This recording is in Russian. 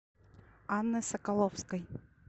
анны соколовской